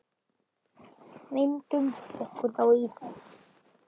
Vindum okkur þá í það.